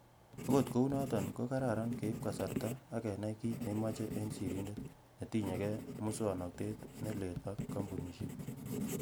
Okot kounoton, ko kararan keib kasarta ak kenai kit neimoche en sirindet netikyonige, musooknotet ne leel ak kompusiek.